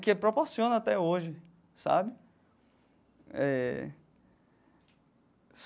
que proporciona até hoje, sabe? Eh.